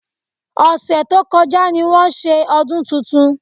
Ọ̀sẹ̀ tó kọjá ni wọ́n ṣe ọdún tuntun